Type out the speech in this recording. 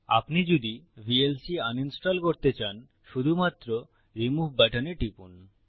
আপনি যদি VLC uninstall করতে চান শুধুমাত্র রিমুভ বাটনে টিপুন